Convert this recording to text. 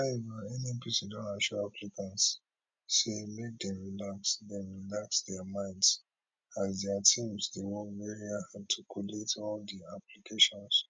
however nnpc don assure applicants say make dem relax dem relax dia minds as dia team dey work very hard to collate all di applications